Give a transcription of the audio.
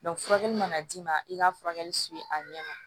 furakɛli mana d'i ma i ka furakɛli a ɲɛ ma